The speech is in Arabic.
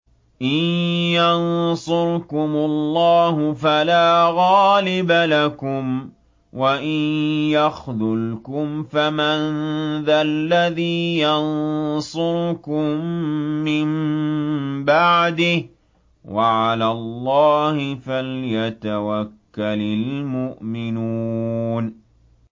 إِن يَنصُرْكُمُ اللَّهُ فَلَا غَالِبَ لَكُمْ ۖ وَإِن يَخْذُلْكُمْ فَمَن ذَا الَّذِي يَنصُرُكُم مِّن بَعْدِهِ ۗ وَعَلَى اللَّهِ فَلْيَتَوَكَّلِ الْمُؤْمِنُونَ